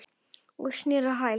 Og snerist á hæli.